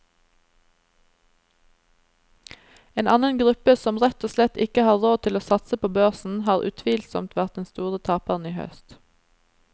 En annen gruppe som rett og slett ikke har råd til å satse på børsen, har utvilsomt vært den store taperen i høst.